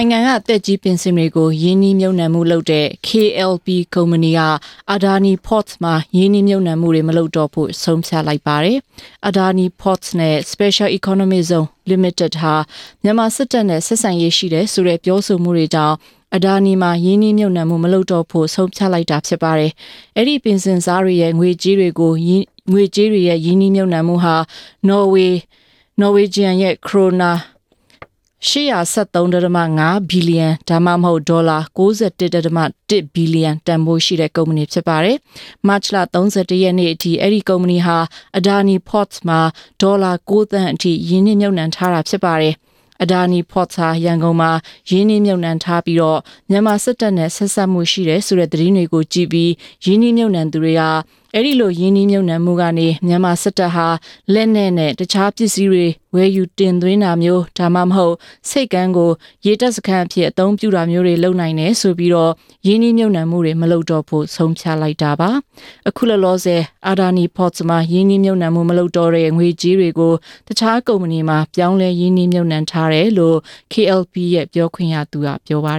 ုင်ငံက သက်ကြီးပင်စင်တွေကို ရင်းနှီးမြုပ်နှံမှုလုပ်တဲ့ KLPကုမ္ပဏီ က Adani Ports မှာ ရင်းနှီးမြုပ်နှံမှု မလုပ်တော့ဖို့ ဆုံးဖြတ်လိုက်ပါတယ်။ Adani Ports နဲ့ Special Economic Zone Ltd ဟာ မြန်မာစစ်တပ်နဲ့ ဆက်ဆံရေးရှိတယ် ဆိုတဲ့ ပြောဆိုမှုတွေကြောင့် အာဒါနီမှာ ရင်းနှီးမြုပ်နှံမှု မလုပ်တော့ဖို့ ဆုံးဖြတ်တာ ဖြစ်ပါတယ်။ အဲဒီ ပင်စင်စားတွေရဲ့ ငွေကြေးတွေကို ရင်းနှီးမြုပ်နှံဟာ နော်ဝေဂျီယံ ခရိုနာ ၈၁၃.၅ ဘီလီယံ ဒါမှမဟုတ် ဒေါ်လာ ၉၅.၁ ဘီလီယံ တန်ဖိုးရှိတဲ့ ကုမ္ပဏီ ဖြစ်ပါတယ်။ မတ်လ ၃၁ ရက်နေ့အထိ အဲဒီကုမ္ပဏီဟာ Adani Ports မှာ ဒေါ်လာ ၉ သန်းအထိ ရင်းနှီးမြုပ်နှံထားတာ ဖြစ်ပါတယ်။ Adani Ports ဟာ ရန်ကုန်မှာ ရင်းနှီးမြုပ်နှံထားပြီး မြန်မာစစ်တပ်နဲ့ ဆက်စပ်မှုရှိတယ်ဆိုတဲ့ သတင်းတွေကိုကြည့်ပြီး ရင်းနှီးမြုပ်နှံသူတွေက အဲဒီလို ရင်းနှီးမြုပ်နှံမှုကနေ မြန်မာစစ်တပ်က လက်နက်နဲ့ တခြားပစည်းတွေ ဝယ်ယူတင်သွင်းတာမျိုး ဒါမှမဟုတ် ဆိပ်ကမ်းကို ရေတပ်စခန်းအဖြစ် အသုံးပြုတာမျိုး လုပ်နိုင်တယ်ဆိုပြီး ရင်းနှီးမြုပ်နှံမှု မလုပ်တော့ဖို့ ဆုံးဖြတ်လိုက်တာပါ။ အခုလောလောဆယ် အာဒီနီမှာ ရင်းနှီးမြုပ်နှံမှု မလုပ်တော့တဲ့ ငွေကြေးတွေကို တခြား ကုမ္ပဏီမှာ ရင်းနှီးမြုပ်နှံထားတယ်လို့ KLP ရဲ့ ပြောခွင့်ရသူက ပြောပါ